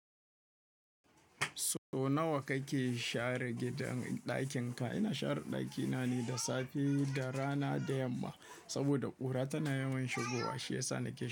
So nawa kake share gidan ɗakin ka? Ina share ɗakina ne da safe da rana da yamma saboda ƙura tana yawan shigowa shi yasa nake yi.